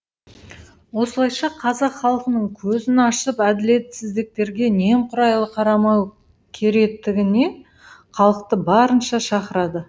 осылайша қазақ халқының көзін ашып әділетсіздіктерге немқұрайлы қарамау керектігіне халықты барынша шақырады